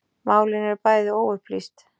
Málin eru bæði óupplýst